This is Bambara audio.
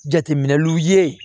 Jateminɛliw ye